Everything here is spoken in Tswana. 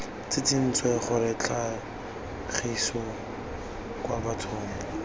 tsitsintse gore tlhagiso kwa bathong